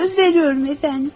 Söz verirəm, cənab.